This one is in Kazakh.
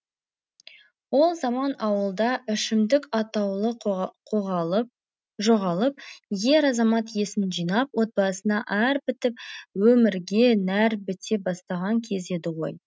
ол заман ауылда ішімдік атаулы жоғалып ер азамат есін жинап отбасына әр бітіп өмірге нәр біте бастаған кез еді ғой